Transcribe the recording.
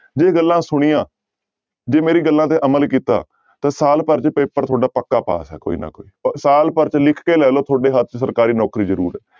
ਜੇ ਗੱਲਾਂ ਸੁਣੀਆਂ ਜੇ ਮੇਰੀਆਂ ਗੱਲਾਂ ਤੇ ਅਮਲ ਕੀਤਾ ਤਾਂ ਸਾਲ ਭਰ ਚ ਪੇਪਰ ਤੁਹਾਡਾ ਪੱਕਾ ਪਾਸ ਹੈ ਕੋਈ ਨਾ ਕੋਈ ਭ ਸਾਲ ਭਰ ਚ ਲਿਖ ਕੇ ਲੈ ਲਓ ਤੁਹਾਡੇ ਹੱਥ ਚ ਸਰਕਾਰੀ ਨੌਕਰੀ ਜ਼ਰੂਰ ਹੈ।